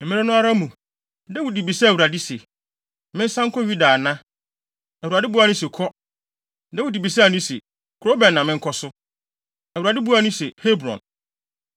Mmere no ara mu, Dawid bisaa Awurade se, “Mensan nkɔ Yuda ana?” Awurade buaa no se, “Kɔ.” Dawid bisaa no se, “Kurow bɛn na menkɔ so?” Awurade buaa no se, “Hebron.”